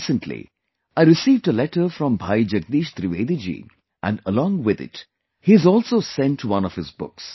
Recently I received a letter from Bhai Jagdish Trivedi ji and along with it he has also sent one of his books